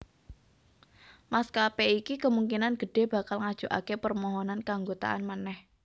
Maskapé iki kemungkinan gedhé bakal ngajokaké permohonan keanggotaan manèh